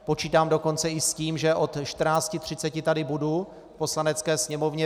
Počítám dokonce i s tím, že od 14.30 tady budu v Poslanecké sněmovně.